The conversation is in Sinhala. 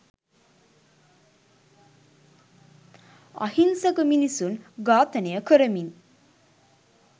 අහිංසක මිනිසුන් ඝාතනය කරමින්